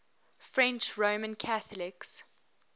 french roman catholics